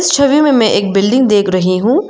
छवि में मैं एक बिल्डिंग देख रही हु।